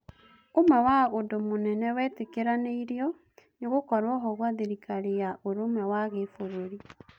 ũmwe wa ũndũ mũnene wetĩkĩranĩirio nĩ gũkorwo-ho gwa thirikari ya ũrũmwe wa Gĩbũrũri.